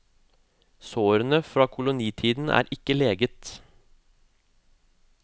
Sårene fra kolonitiden er ikke leget.